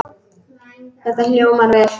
Þetta hljómar vel.